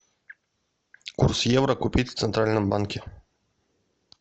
курс евро купить в центральном банке